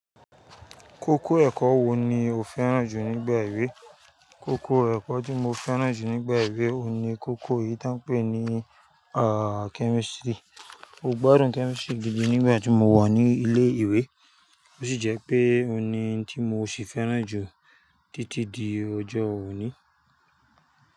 Kókó ẹ̀kọ́ wo ni o fẹ́ràn jù nígbà ìwé? Kókó ẹ̀kọ́ tí mo fẹ́ràn jù nígbà ìwé oun ni kókó eyìí tán pè ní chemistry. Mo gbádùn chemistry gidi nígbà tí mo wà ní ilé ìwé, ó sì jẹ́ pé òun ni n tí mo sì fẹ́ràn jù títí di ọjọ́ òní.